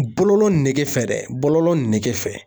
Bɔllɔ nege fɛ dɛ, bololɔ nege fɛ